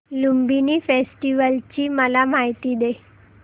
Lumbini festival ची मला माहिती दे